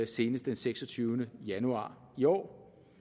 senest den seksogtyvende januar i år